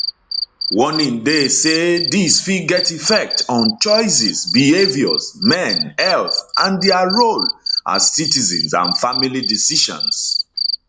warning dey say dis fit get effect on choices behaviours men health and dia role as citizens and family decisions